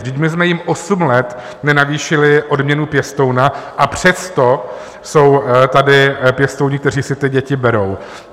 Vždyť my jsme jim osm let nenavýšili odměnu pěstouna, a přesto jsou tady pěstouni, kteří si ty děti berou.